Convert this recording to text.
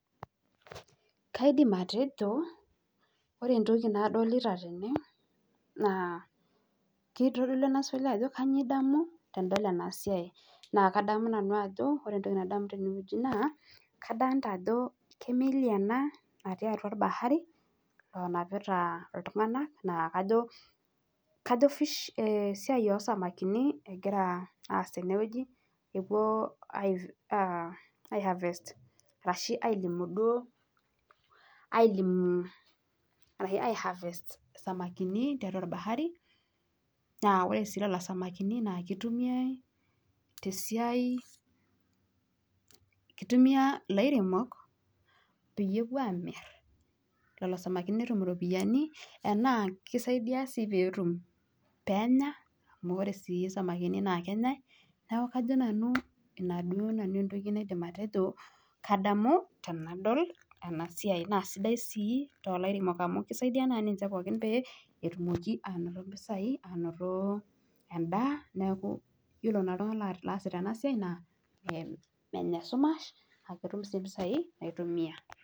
Kaidim atejo, ore entoki nadol tene naa keitodolu ena swali ajo kanyoo idamu tenidol ena siai. Naa ore entoki nadamu nanu naa kadolita ajo kemeli ena natii atwa orbahari onapita iltung'anak naa kajo, kajo esiai oosamakini egira aas tenewueji, epwo ai harvest ashu ailimu duo ailimu, ai harvest isamakini tiatwa orbahari, naa ore sii lelo samakini duo itumiai te siai, kitumia ilairemok peyie emirr lelo samakini iropiyiani enaa kisaidia sii peetum, peenya, amu sii isamakini naa. Neeku ina duo entoki nanu naaidim atejo kadamu tenadol ena siai naa sidai sii toolairemok amu kisaidi naa ninche pookin pee etumoki anoto mpesai, anoto endaa, neeku yiolo naa iltung'anak oosita ena siai naa menya esumash naa ketum sii mpisai naitumia